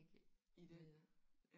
I det?